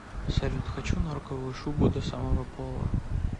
салют хочу норковую шубу до самого пола